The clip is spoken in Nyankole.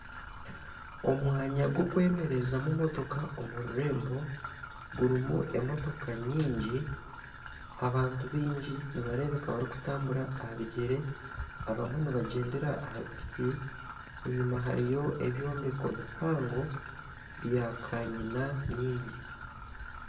Omwanya gw'okwemerezamu motoka omu rurembo gurimu emotoka nyingi abantu baingi nibareebeka barikutambura aha bigyere abamwe nibagyendera aha piki enyima hariyo ebyombeko bihango byakanyina nyingi